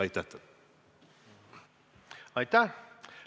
Aitäh!